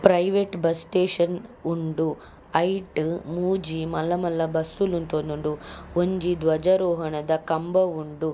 Private bus station ಉಂಡು ಐಟ್ ಮೂಜಿ ಮಲ್ಲ ಮಲ್ಲ ಬಸ್ಸ್ ಲು ಉಂತೊಂದುಂಡು ಒಂಜಿ ಧ್ವಜರೋಹಣದ ಕಂಬ ಉಂಡು.